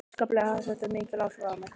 Óskaplega hafði þetta mikil áhrif á mig.